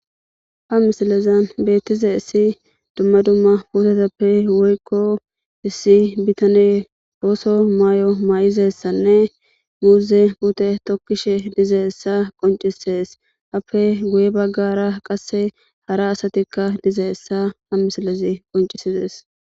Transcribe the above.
ha misilezan beettize issi dumma dumma puteteppe woykko issi bitane booso may7o may7izessanne muuze pute tokkishe dize essa qoncisees appe guye baggara qasse hara asatikka dize essa ha misilezi qoncisizees